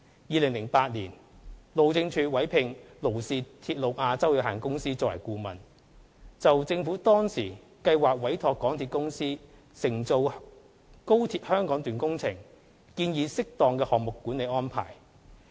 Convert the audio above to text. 2008年，路政署委聘勞氏鐵路亞洲有限公司作為顧問，就政府當時計劃委託香港鐵路有限公司承造高鐵香港段工程，建議適當的項目管理安排。